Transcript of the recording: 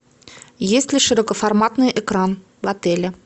есть ли широкоформатный экран в отеле